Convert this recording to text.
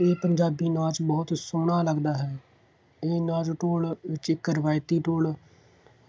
ਇਹ ਪੰਜਾਬੀ ਨਾਚ ਬਹੁਤ ਸੋਹਣਾ ਲੱਗਦਾ ਹੈ। ਉਹ ਨਾਚ ਢੋਲ, ਇੱਕ ਇੱਕ ਰਵਾਇਤੀ ਢੋਲ,